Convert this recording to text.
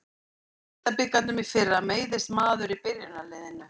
Í deildabikarnum í fyrra meiðist maður í byrjunarliðinu.